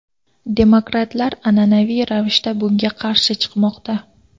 Demokratlar an’anaviy ravishda bunga qarshi chiqmoqda.